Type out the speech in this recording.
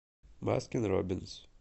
баскин роббинс